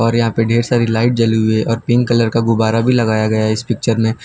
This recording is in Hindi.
और यहां पे ढेर सारी लाइट जली हुई है और पिंक कलर का गुब्बारा भी लगाया गया है इस पिक्चर में।